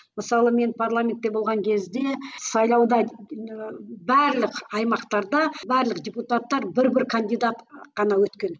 мысалы мен парламентте болған кезде сайлауда ыыы барлық аймақтарда барлық депутаттар бір бір кандидат қана өткен